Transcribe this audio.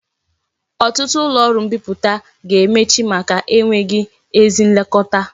Otutu ulo oru mbiputa ga-emechi maka enweghi ezi nlekota